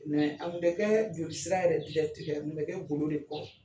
an kun tɛ kɛ jolisira yɛrɛ an kun bɛ kɛ golo de kɔrɔ.